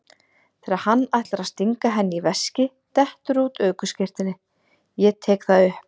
Þegar hann ætlar að stinga henni í veskið dettur út ökuskírteinið, ég tek það upp.